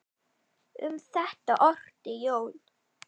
Um þetta orti Jón